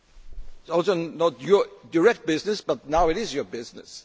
It is not your direct business but now it is your business.